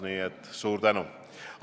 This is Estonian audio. Nii et suur tänu!